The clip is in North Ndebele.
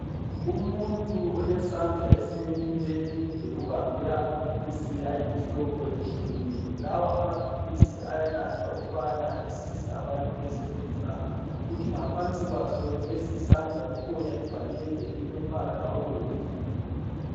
Umuntu olesandla esileminwe emide ubambe amaphilisi ayimihlobo atshiyeneyo. Lawa amaphilisi ayanathwa ukubana asize abantu ezifeni zawo. Kuthi ngaphansi kwalesisandla kukhona ibhakede elilombala obomvu.